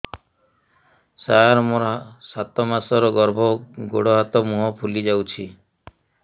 ସାର ମୋର ସାତ ମାସର ଗର୍ଭ ଗୋଡ଼ ହାତ ମୁହଁ ଫୁଲି ଯାଉଛି